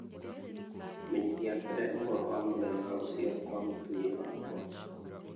menyithia mbere ũhoro wa mũthenya wa gũciarwo kwa mũtumia wakwa